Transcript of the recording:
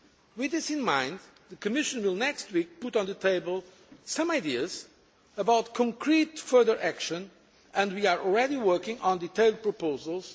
With this in mind, the Commission will next week put on the table some ideas for concrete further action and we are already working on the detailed proposals.